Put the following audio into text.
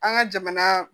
An ka jamana